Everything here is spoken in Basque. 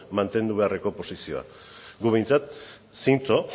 mantendu beharreko posizioa gu behintzat zintzo